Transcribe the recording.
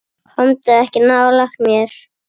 Komdu ekki nálægt mér.